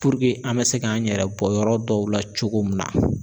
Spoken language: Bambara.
an bɛ se k'an yɛrɛ bɔ yɔrɔ dɔw la cogo min na.